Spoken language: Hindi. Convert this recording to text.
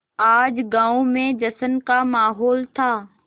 आज गाँव में जश्न का माहौल था